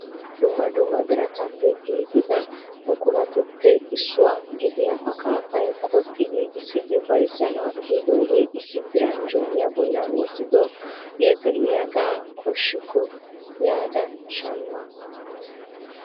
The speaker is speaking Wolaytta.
Dumma dumma birataappe giigida buquratuppe issuwaa gidiya akkafay qoxxi giiggissidi bayzzanaw ehidooge issi diran jooniya bolla wottidoode de'iyaaga koshikko yaada shammaa.